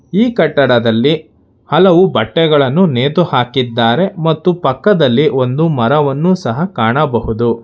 ಈ ಕಟ್ಟಡದಲ್ಲಿ ಹಲವು ಬಟ್ಟೆಗಳನ್ನು ನೇತು ಹಾಕಿದ್ದಾರೆ ಮತ್ತು ಪಕ್ಕದಲ್ಲಿ ಒಂದು ಮರವನ್ನು ಸಹ ಕಾಣಬಹುದು.